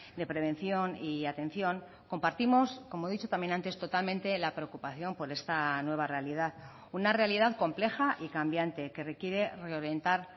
de prevención y atención compartimos como he dicho también antes totalmente la preocupación por esta nueva realidad una realidad compleja y cambiante que requiere reorientar